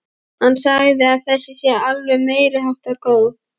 Hann segir að þessi sé alveg meiriháttar góð.